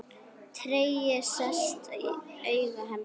Tregi sest í augu hans.